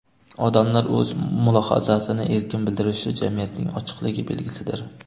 Odamlar o‘z mulohazasini erkin bildirishi jamiyatning ochiqligi belgisidir.